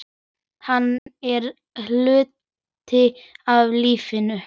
Hann er hluti af lífinu.